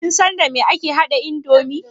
Kin san dame ake haɗa indomi?